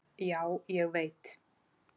Já, ég veit